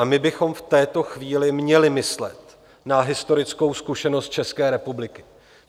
A my bychom v této chvíli měli myslet na historickou zkušenost České republiky.